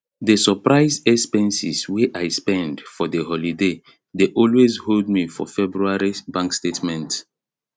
the surprise expenses wey i spend for the holiday dey always hold me for february bank statement